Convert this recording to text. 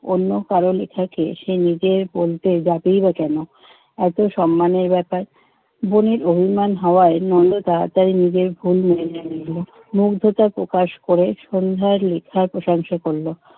অন্য কারো লিখাকে সে নিজের বলতে যাবেই বা কেন? এতো সম্মানের ব্যাপার। বোনের অভিমান হওয়ায় নন্দ তাড়াতাড়ি নিজের ভুল মেনে নিল। মুগ্ধতা প্রকাশ করে সন্ধ্যার মিথ্যা প্রশংসা করলো।